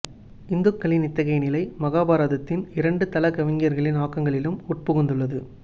ஹிந்துக்களின் இத்தகைய நிலை மகாபாரதத்தின் இரண்டு தள கவிஞர்களின் ஆக்கங்களிலும் உட்புகுந்துள்ளது